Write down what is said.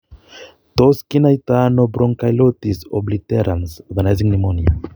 Tos kinaitano bronchiolitis obliterans organizing pneumonia?